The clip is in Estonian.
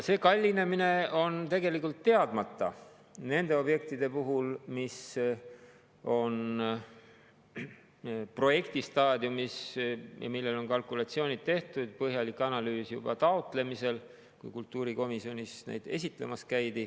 See kallinemine on tegelikult teadmata nende objektide puhul, mis on projektistaadiumis ja mille kohta on kalkulatsioonid tehtud, põhjalik analüüs on tehtud juba taotlemisel, kui kultuurikomisjonis neid esitlemas käidi.